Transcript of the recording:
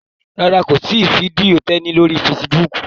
Rárá, kò sí fídíò Tẹ́ní lórí Fasibóòkù